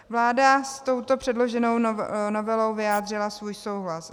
Vláda s touto předloženou novelou vyjádřila svůj souhlas.